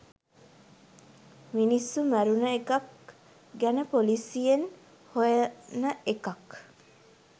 මිනිස්සු මැරුණ එකක් ගැන පොලිසියෙන් හොයන එකක්